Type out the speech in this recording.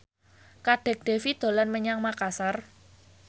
Kadek Devi dolan menyang Makasar